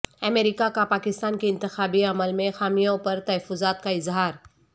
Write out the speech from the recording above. امریکا کا پاکستان کے انتخابی عمل میں خامیوں پر تحفظات کا اظہار